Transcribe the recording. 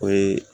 O ye